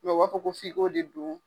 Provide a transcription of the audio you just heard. u b'a fɔ ko f'i ko de dun.